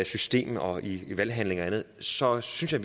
system og i valghandlinger og andet så synes jeg